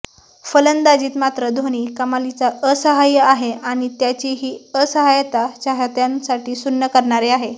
फलंदाजीत मात्र धोनी कमालीचा असहाय्य आहे आणि त्याची ही असहाय्यता चाहत्यांसाठी सुन्न करणारी आहे